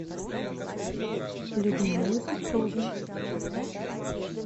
людмилы петровны